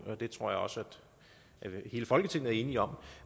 og det tror jeg også hele folketinget er enige om